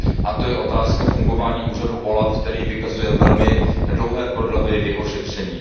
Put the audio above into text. A to je otázka fungování úřadu OLAF, který vykazuje velmi dlouhé prodlevy ve svém šetření.